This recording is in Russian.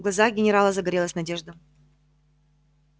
в глазах генерала загорелась надежда